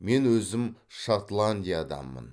мен өзім шотландияданмын